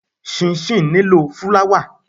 Chinchin nílò fúláwà.